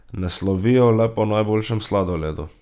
Ne slovijo le po najboljšem sladoledu.